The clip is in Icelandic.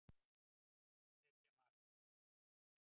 Nú er bara að sækja og setja mark!